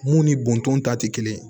Mun ni bɔntɔn ta tɛ kelen